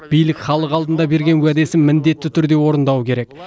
билік халық алдында берген уәдесін міндетті түрде орындауы керек